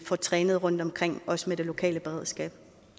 får trænet rundtomkring også med det lokale beredskab